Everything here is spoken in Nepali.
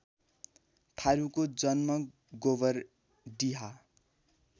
थारुको जन्म गोबरडिहा